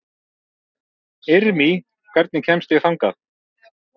Irmý, hvernig kemst ég þangað?